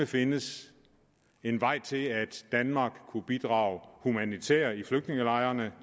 findes en vej til at danmark kunne bidrage humanitært i flygtningelejrene